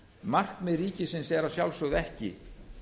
meginmarkmið ríkisins er að sjálfsögðu ekki